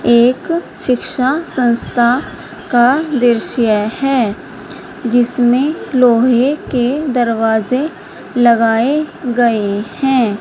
एक शिक्षा संस्था का दृश्य है जिसमें लोहे के दरवाजे लगाए गए हैं।